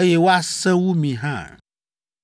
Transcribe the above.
eye woasẽ wu mi hã!